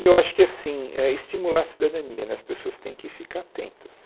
E eu acho que assim, estimular a cidadania né, as pessoas têm que ficar atentas.